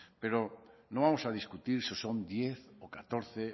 pero no vamos a discutir si son diez o catorce